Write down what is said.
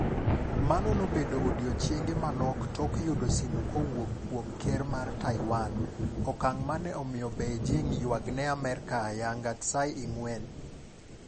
mano nobedo odichienge manok tok yudo simu kowuok kuom ker mar Taiwan. Okang' mane omiyo Beijing ywagne Amerka ayanga Tsai Ing-wen.